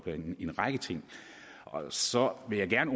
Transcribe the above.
en række ting og så vil jeg gerne